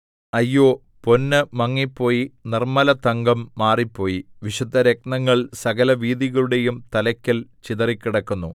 അയ്യോ പൊന്ന് മങ്ങിപ്പോയി നിർമ്മല തങ്കം മാറിപ്പോയി വിശുദ്ധരത്നങ്ങൾ സകലവീഥികളുടെയും തലയ്ക്കൽ ചിതറി കിടക്കുന്നു